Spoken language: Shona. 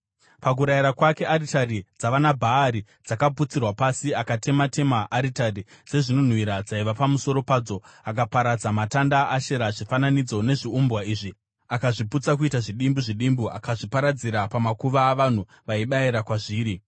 Pakurayira kwake aritari dzavanaBhaari dzakaputsirwa pasi; akatema-tema aritari dzezvinonhuhwira dzaiva pamusoro padzo akaparadza matanda aAshera, zvifananidzo nezviumbwa izvi akazviputsa kuita zvidimbu zvidimbu akazviparadzira pamakuva avanhu vaibayira kwazviri.